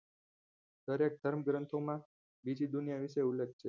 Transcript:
દરેક ધર્મ ગ્રંથોમા બીજી દુનિયા વિશે ઉલેખ છે